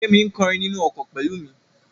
Kẹ́mi ń kọrin nínú ọkọ̀ pẹ̀lú mi.